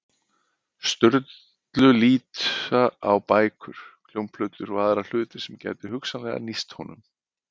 Sturlu líta á bækur, hljómplötur og aðra hluti sem gætu hugsanlega nýst honum.